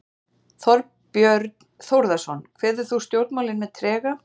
Þorbjörn Þórðarson: Kveður þú stjórnmálin með trega?